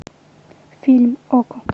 фильм окко